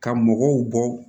Ka mɔgɔw bɔ